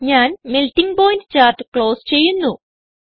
ഞാൻ melting point chart close ചെയ്യുന്നു